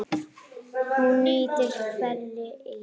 Hún nýtir hveri í